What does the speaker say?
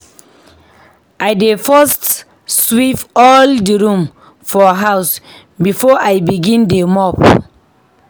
I dey first sweep all di room for house before I begin dey mop.